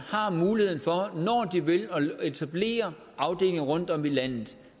muligheden for at etablere afdelinger rundtomkring i landet